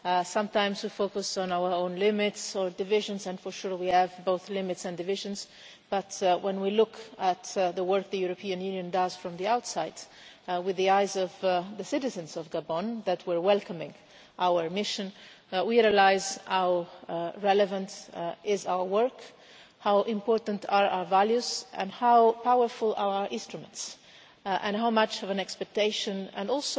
Sometimes we focus on our own limits or divisions and, for sure, we have both limits and divisions but when we look at the work the European Union does from the outside, with the eyes of the citizens of Gabon who were welcoming our mission, we recognise how relevant our work is, how important our values are, how powerful our instruments are, and how much expectation as well